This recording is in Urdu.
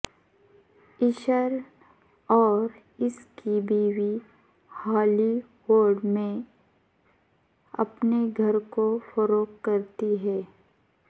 اششر اور اس کی بیوی ہالی وڈ میں اپنے گھر کو فروخت کرتی ہے